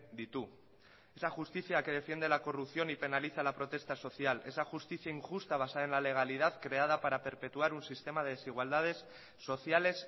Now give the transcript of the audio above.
ditu esa justicia que defiende la corrupción y penaliza la protesta social esa justicia injusta basada en la legalidad creada para perpetuar un sistema de desigualdades sociales